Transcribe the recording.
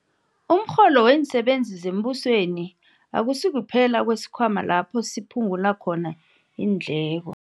Umrholo weensebenzi zembusweni akusikuphela kwesikhwama lapho siphu ngula khona iindleko.